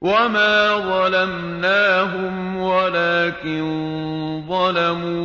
وَمَا ظَلَمْنَاهُمْ وَلَٰكِن ظَلَمُوا